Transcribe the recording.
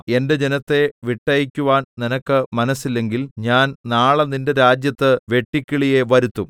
എന്റെ ജനത്തെ വിട്ടയയ്ക്കുവാൻ നിനക്ക് മനസ്സില്ലെങ്കിൽ ഞാൻ നാളെ നിന്റെ രാജ്യത്ത് വെട്ടുക്കിളിയെ വരുത്തും